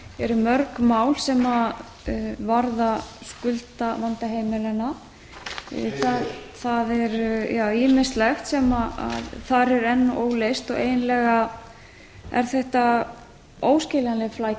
eru mörg mál sem varða skuldavanda heimilanna heyr heyr það er ýmislegt sem þar er enn óleyst og eiginlega er þetta óskiljanleg flækja sem er og